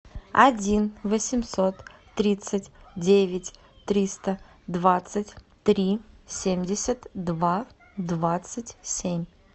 один восемьсот тридцать девять триста двадцать три семьдесят два двадцать семь